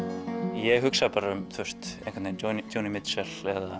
ég hugsa bara um Joni Mitchell